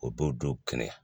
O b'o don kɛnɛ